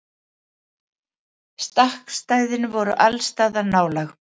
Stakkstæðin voru allsstaðar nálæg.